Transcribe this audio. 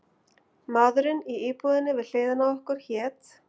Maðurinn í íbúðinni við hliðina á okkur hét